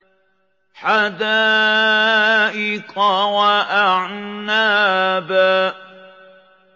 حَدَائِقَ وَأَعْنَابًا